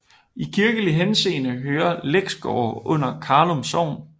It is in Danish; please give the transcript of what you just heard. I kirkelig henseende hører Læksgårde under Karlum Sogn